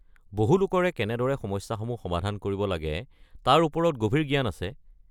বহু লোকৰে কেনেদৰে সমস্যাসমূহৰ সমাধান কৰিব লাগে তাৰ ওপৰত গভীৰ জ্ঞান আছে।